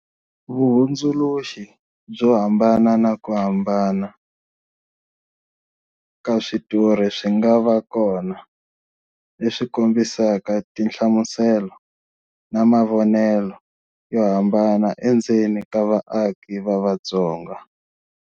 Vuhundzuluxi byo hambana na ku hambana ka switori swi nga va kona, leswi kombisaka tinhlamuselo na mavonelo yo hambana endzeni ka vaaki va Vatsonga.